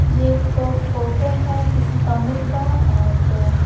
ये एक फोटो है किसी कमरे का और--